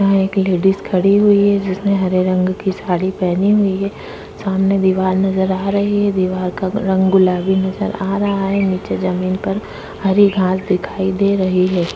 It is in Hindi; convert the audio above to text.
यहा एक लेडिस खड़ी हुई है जिसने हरे रंग की साड़ी पहनी हुई है सामने दीवार नजर आ रही है दीवार का रंग गुलाबी नजर आ रहा है नीचे जमीन पर हरी घास दिखाई दे रही है।